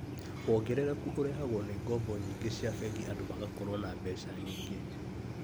Wongerereku ũrehagwo nĩ ngoombo nyingĩ cia bengi andũ magakorwo na mbeca nyingĩ